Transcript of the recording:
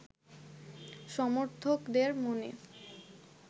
সমর্থকদের মনে